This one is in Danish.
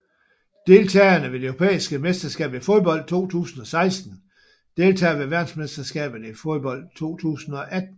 Deltagere ved det europæiske mesterskab i fodbold 2016 Deltagere ved verdensmesterskabet i fodbold 2018